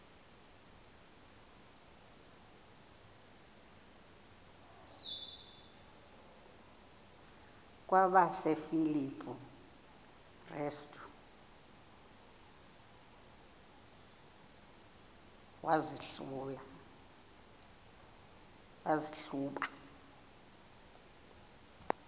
kwabasefilipi restu wazihluba